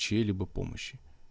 чьей-либо помощи